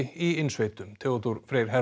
í innsveitum Theodór Freyr